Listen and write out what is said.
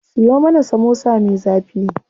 Siyo mana samosa me zafi.